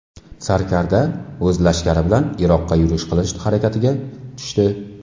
Sarkarda o‘z lashkari bilan Iroqqa yurish qilish harakatiga tushdi.